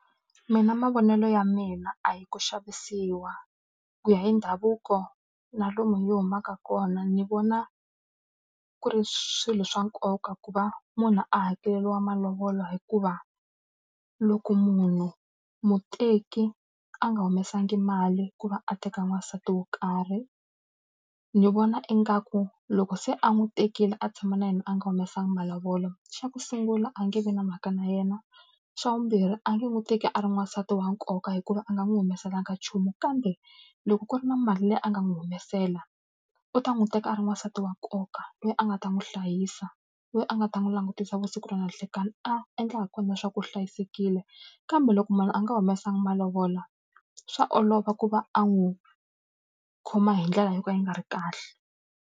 Mina mavonelo ya mina a hi ku xavisiwa. Ku ya hi ndhavuko na lomu hi humaka kona ni vona ku ri swilo swa nkoka ku va munhu a hakeleriwa malovolo hikuva, loko munhu muteki a nga humesangi mali ku va a teka n'wansati wo karhi, ni vona ingaku loko se a n'wi tekile a tshama na yena a nga humesangi malovolo, xa ku sungula a nge vi na mhaka na yena. Xa vumbirhi a nge n'wi teki a ri n'wansati wa nkoka hikuva a nga n'wi humesela ka nchumu kambe, loko ku ri na mali leyi a nga n'wi humesela, u ta n'wi teka a ri n'wansati wa nkoka, loyi a nga ta n'wi hlayisa, loyi a nga ta n'wi langutisa vusiku na ni nhlekani. A endlaka ha kona leswaku hlayisekile, kambe loko munhu a nga humesanga malovola swa olova ku va a n'wi khoma hi ndlela yo ka yi nga ri kahle.